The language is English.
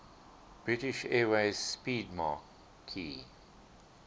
british airways 'speedmarque